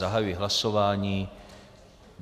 Zahajuji hlasování.